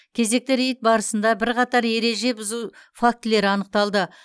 кезекті рейд барысында бірқатар ереже бұзу фактілері анықталды